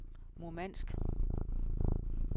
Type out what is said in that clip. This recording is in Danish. Murmansk